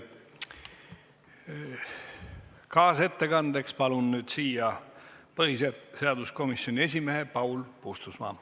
Kaasettekandeks palun kõnetooli põhiseaduskomisjoni esimehe Paul Puustusmaa.